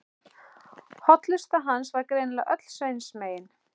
Hollusta hans var greinilega öll Sveins megin.